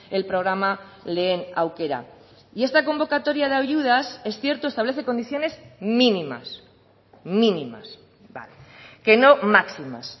el programa lehen aukera y esta convocatoria de ayudas es cierto establece condiciones mínimas mínimas que no máximas